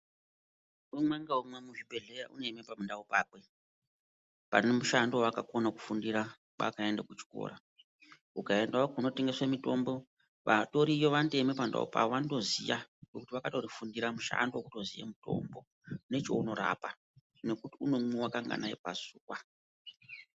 Umwe ngaumwe muzvibhedhleya unoema pandau pakwe pane mushando waakakona kufundira pakaenda kuchikora ukaendao kunotengeswe mitombo vatoriyo vanotoeme pandau pavo vanotoziya ngekuti vakatorifundira mushando wekutoziya mutombo nechaunorapa nekuti unomwiwa kanganai pazuwa.